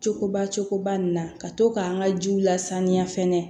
Cogoba cogoba nin na ka to k'an ka jiw lasaniya fɛnɛ